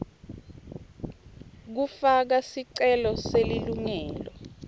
kufaka sicelo selilungelo